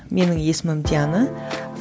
менің есімім диана